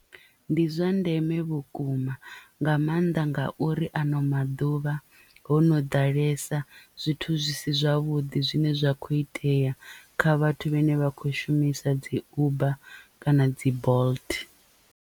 Ndi zwa ndeme vhukuma nga maanḓa ngauri ano maḓuvha ho no ḓalesa zwithu zwi si zwavhuḓi zwine zwa kho itea kha vhathu vhane vha khou shumisa dzi uber kana dzi bolt.